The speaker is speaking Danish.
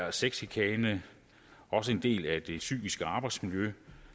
er sexchikane også en del af det psykiske arbejdsmiljø